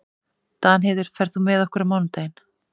Danheiður, ferð þú með okkur á mánudaginn?